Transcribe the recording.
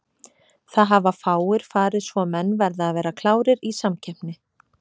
Það hafa fáir farið svo menn verða að vera klárir í samkeppni.